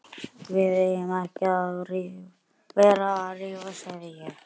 Við eigum ekki að vera að rífast sagði ég.